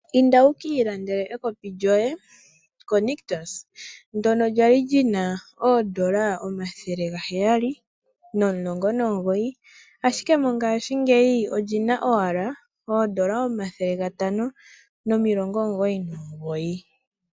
Kiilandele ekopi lyo ye ko nictus ndjoka lyali owala lina omathele ga heyali no mulongo nomugoyi ndele, paife olina owala omathele ga tano no milongo omugoyi no mugoyi.